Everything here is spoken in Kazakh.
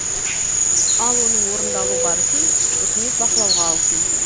ал оның орындалу барысын үкімет бақылауға алсын